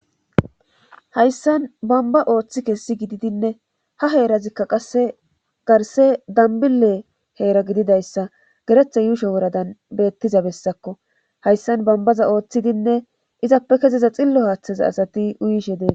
Hayssan bomba ooththi kessi gididinne ha heerazikka qasse garse dambile heera gididayssa geretha yuusho woradan bettiza bessakko hayssan bambaza ooththidinne izappe kezeza xillo haaththaza asati uyishe dee.